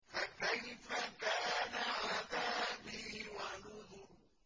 فَكَيْفَ كَانَ عَذَابِي وَنُذُرِ